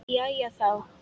Jæja, já.